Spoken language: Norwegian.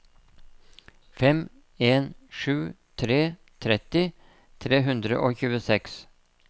fem en sju tre tretti tre hundre og tjueseks